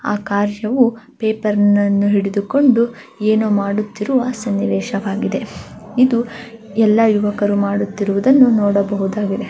ಆ ಕಾರ ಶಿವು ಪೇಪರ್ ನನ್ನು ಹಿಡಿದುಕೊಂಡು ಏನೋ ಮಾಡುತಿರುವ ಸನ್ನಿವೇಶ ವಾಗಿದೆ ಇದು ಎಲ್ಲ ಯುವಕರು ಮಾಡುತಿರುವುದನ್ನು ನೋಡಬಹುದು.